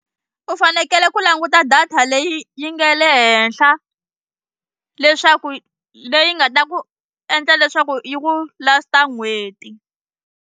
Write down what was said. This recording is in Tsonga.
U fanekele ku languta data leyi yi nga le henhla leswaku leyi nga ta ku endla leswaku yi ku last-a n'hweti.